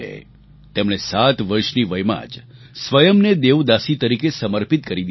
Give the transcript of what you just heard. તેમણે સાત વર્ષની વયમાં જ સ્વયંને દેવદાસી તરીકે સમર્પિત કરી દીધા હતા